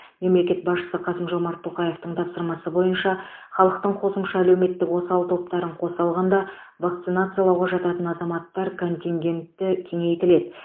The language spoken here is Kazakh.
мемлекет басшысы қасым жомарт тоқаевтың тапсырмасы бойынша халықтың қосымша әлеуметтік осал топтарын қоса алғанда вакцинациялауға жататын азаматтар контингентті кеңейтіледі